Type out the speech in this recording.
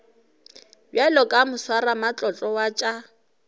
bjalo ka moswaramatlotlo wa tša